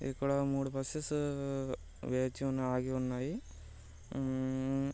ఇక్కడ మూడు బసేస్ వేచి ఉండి ఆగి ఉన్నాయి .